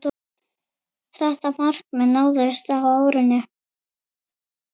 Þetta markmið náðist á árinu.